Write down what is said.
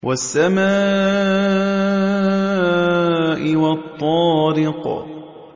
وَالسَّمَاءِ وَالطَّارِقِ